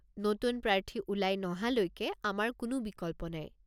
নতুন প্ৰাৰ্থী ওলাই নহালৈকে আমাৰ কোনো বিকল্প নাই।